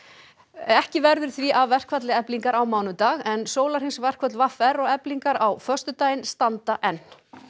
ekki verður því af verkfalli Eflingar á mánudag en sólarhrings verkföll v r og Eflingar á föstudaginn standa enn